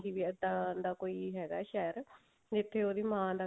ਵੀ ਇੱਦਾਂ ਦਾ ਕੋਈ ਹੈਗਾ ਸ਼ਹਿਰ ਜਿੱਥੇ ਉਹਦੀ ਮਾਂ ਦਾ